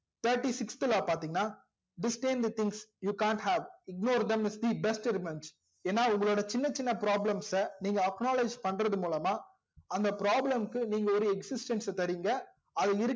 thirty sixth law பாத்திங்கனா distance the thinks you can't have ignore them is the best revenge ஏனா உங்களோட சின்ன சின்ன problems ச நீங்க acknowlege பண்றது மூலமா அந்த problem க்கு நீங்க ஒரு existence ச தரிங்க